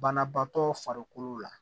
Banabaatɔ farikolo la